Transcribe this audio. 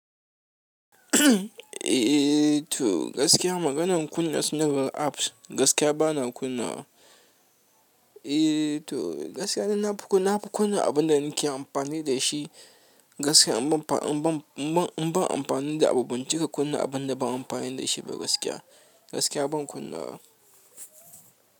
Eh to gaskiya maganan kunna sanarwa apps gaskiya bana kunna wa. Eh to gaskiya na nafi kunna abunda nake amfani da shi. Gaskiya in ban, in ban, in ban amfani da abu ban cika kunna abunda ban amfani da shi ba gaskiya. Gaskiya ban kunna.